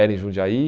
Era em Jundiaí.